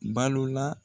Balola